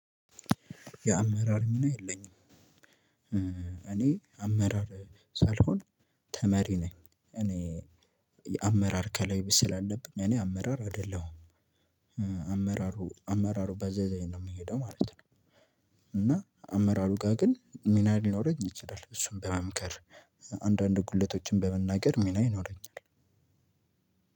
የአመራር ሚና የለኝም እኔ አመራር ሳልሆን ተመሪ ነኝ እኔ አመራር ከላይ ስላለብኝ እኔ አመራር አይደለሁም አመራሩ አመራሩ ባዘዘኝ ነው ምሄደው ማለት ነው። እና አመራሩ ጋር ግን ሚና ሊኖረኝ ይችላል እሱን በመምከር አንዳንድ ጉድለቶችን በመናገር ሚና ይኖረኛል።